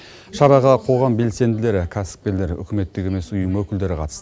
шараға қоғам белсенділері кәсіпкерлер үкіметтік емес ұйым өкілдері қатысты